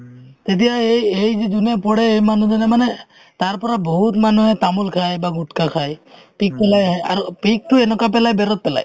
এতিয়া এই~ এই যি যোনে পঢ়ে এই মানুহজনে মানে তাৰ পৰা বহুত মানুহে তামোল খাই বা গুটকা খাই পিক পেলাই আহে আৰু পিকতো এনেকুৱা পেলাই বেৰত পেলায়